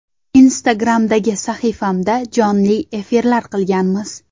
Instagram’dagi sahifamda jonli efirlar qilganmiz.